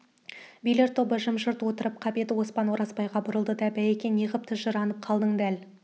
билер тобы жым-жырт отырып қап еді оспан оразбайға бұрылды да байеке неғып тыжырынып қалдың дәл